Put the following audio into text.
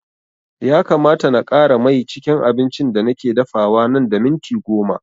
Ya kamata na ƙara mai cikin abincin da nake dafawa nan da minti goma